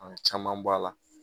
An caman b'a la